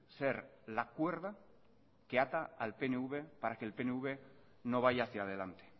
ser la cuerda que ata al pnv para que el pnv no vaya hacia adelante